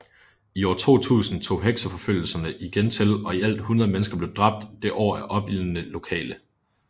I år 2000 tog hekseforfølgelserne igen til og i alt 100 mennesker blev dræbt det år af opildnede lokale